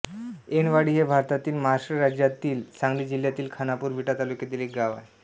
ऐनवाडी हे भारतातील महाराष्ट्र राज्यातील सांगली जिल्ह्यातील खानापूर विटा तालुक्यातील एक गाव आहे